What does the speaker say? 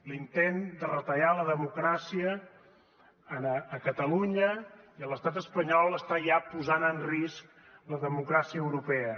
l’intent de retallar la democràcia a catalunya i a l’estat espanyol està ja posant en risc la democràcia europea